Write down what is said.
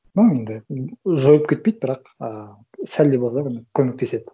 ну енді жойып кетпейді бірақ ы сәл де болса көмектеседі